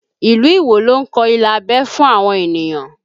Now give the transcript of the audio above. Ilu Iwo ló ń kọ ilà abẹ́ fún àwọn ènìyàn